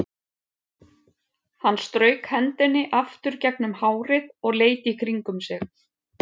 Hann strauk hendinni aftur gegnum hárið og leit í kringum sig.